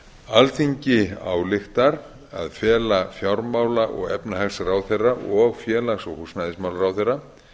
alþingi ályktar að fela fjármála og efnahagsráðherra og félags og húsnæðismálaráðherra